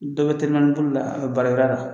Dɔw bɛ telimani boli la a bɛ baarara yɔrɔ la.